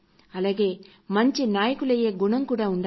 అలాగే మంచి నాయకులయ్యే గుణం కూడా ఉండాలి